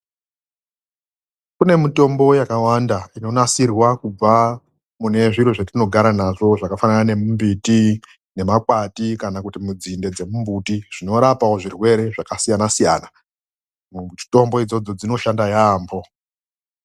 Kune mitombo yakawanda inonasirwa kubva kune zviro zvetinogara nazvo zvakafanana nemimbiti nemakwati kana kuti nzinde dzemimbiti, zvinorapawo zvirwere zvakasiyana siyana. Mitombo idzodzo dzinoshanda yaamho.